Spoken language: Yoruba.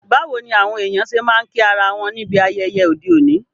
Báwoni àwon èyàn se ma n kí ara won níbi ayẹyẹ ọ́de òní?